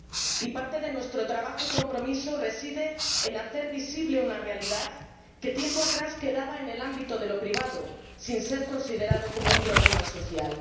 Y parte de nuestro trabajo y compromiso reside en hacer visible una realidad que tiempo atrás quedaba en el ámbito de lo privado, sin ser considerada un problema social.